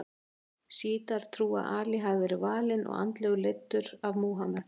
Sjítar trúa að Ali hafi verið valinn og andlega leiddur af Múhameð.